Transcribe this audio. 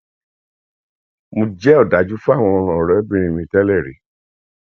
mo jẹ ọdájú sí àwọn ọrẹbìnrin mi tẹlẹrí